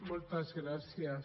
moltes gràcies